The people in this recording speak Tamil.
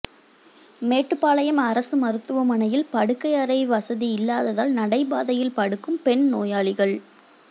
மேட்டுப்பாளையம் அரசு மருத்துவமனையில் படுக்கை அறை வசதி இல்லாததால் நடைபாதையில் படுக்கும் பெண் நோயாளிகள்